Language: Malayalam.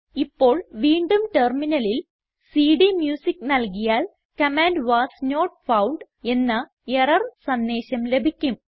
ഇപ്പോൾ വീണ്ടും ടെർമിനലിൽ സിഡിഎംയൂസിക്ക് നൽകിയാൽ കമാൻഡ് വാസ് നോട്ട് ഫൌണ്ട് എന്ന എറർ സന്ദേശം ലഭിക്കും